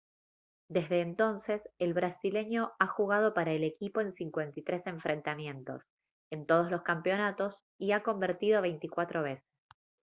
desde entonces el brasileño ha jugado para el equipo en 53 enfrentamientos en todos los campeonatos y ha convertido 24 veces